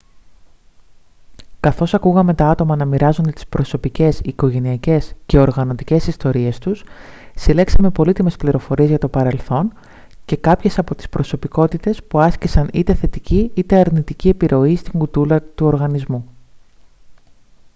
καθώς ακούγαμε τα άτομα να μοιράζονται τις προσωπικές οικογενειακές και οργανωτικές ιστορίες τους συλλέξαμε πολύτιμες πληροφορίες για το παρελθόν και κάποιες από τις προσωπικότητες που άσκησαν είτε θετική είτε αρνητική επιρροή στην κουλτούρα του οργανισμού